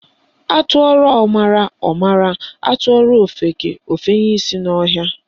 Atụọrọ ọmara, ọ mara, atụọrọ ofeke, ofenye isi n'ọhịa